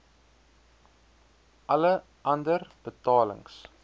alle ander betalings